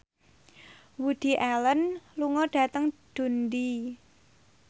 Woody Allen lunga dhateng Dundee